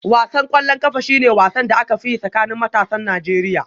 Wasan ƙwallon ƙafa shi ne wasan da aka fi yi a tsakanin matasan Najeriya